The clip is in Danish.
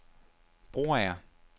Broager